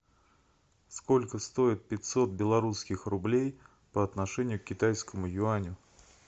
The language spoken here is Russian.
сколько стоит пятьсот белорусских рублей по отношению к китайскому юаню